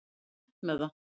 Fór létt með það.